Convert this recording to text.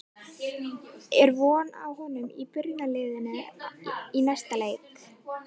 Er von á honum í byrjunarliðinu í næsta leik?